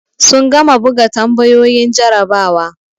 Sun gama buga tambayoyin jarabawa.